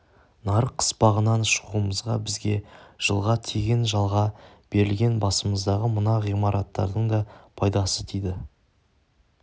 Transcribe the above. нарық қыспағынан шығуымызға бізге жылға тегін жалға берілген басымыздағы мына ғимараттардың да пайдасы тиді